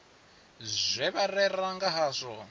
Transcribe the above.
zwe vha rera nga hazwo